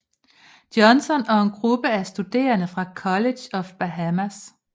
Johnson og en gruppe af studerende fra College of Bahamas